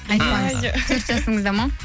төрт жысыңызда ма